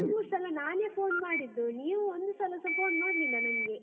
ಎರ್ಡ್ ಮೂರ್ ಸಲ ನಾನೇ phone ಮಾಡಿದ್ದು, ನೀವು ಒಂದು ಸಲಸ phone ಮಾಡ್ಲಿಲ್ಲ ನಂಗೆ.